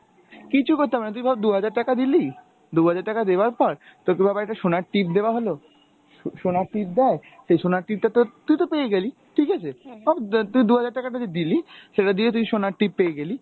কিচ্ছু করতে হবে না ,তুই ধর দু’হাজার টাকা দিলি, দু’হাজার টাকা দেওয়ার পর তোকে আবার একটা সোনার টিপ দেওয়া হলো, সোনার টিপ দেয়, সেই সোনার টিপ টা তোর, তুই তো পেয়েই গেলি ঠিকাছে তুই দু’হাজার টাকাটা যে দিলি সেটা দিয়ে তুই সোনার টিপ পেয়ে গেলি,